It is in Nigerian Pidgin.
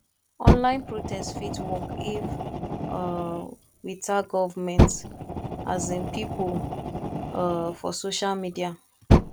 online protest fit work if um we tag government um pipo um for social media